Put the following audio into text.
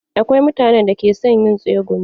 Akwai mutanen da ke son yin tsegumi.